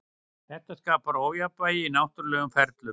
Þetta skapar ójafnvægi í náttúrulegum ferlum.